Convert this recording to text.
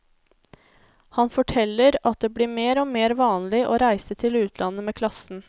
Han forteller at det blir mer og mer vanlig å reise til utlandet med klassen.